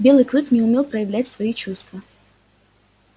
белый клык не умел проявлять свои чувства